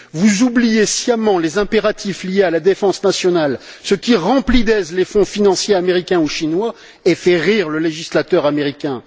Vous oubliez sciemment les impératifs liés à la défense nationale, ce qui remplit d'aise les fonds financiers américains ou chinois et fait rire le législateur américain.